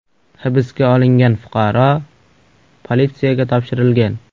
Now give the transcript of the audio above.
Hibsga olingan fuqaro politsiyaga topshirilgan.